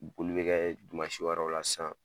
Boli bɛ kɛ wɛrɛw la sisan.